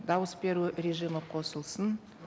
дауыс беру режимі қосылсын